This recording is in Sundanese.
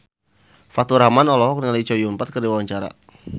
Faturrahman olohok ningali Chow Yun Fat keur diwawancara